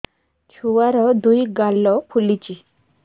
ଛୁଆର୍ ଦୁଇ ଗାଲ ଫୁଲିଚି